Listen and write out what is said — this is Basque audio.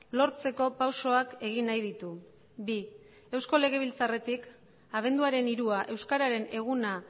lortzeko pausoak egin nahi ditu bi eusko legebiltzarretik abenduaren hirua euskararen eguna